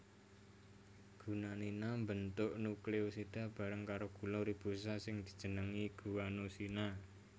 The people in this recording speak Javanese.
Guaninaa mbentuk nukleosida bareng karo gula ribosa sing dijenengi guanosina